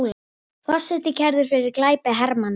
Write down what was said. Forseti kærður fyrir glæpi hermanna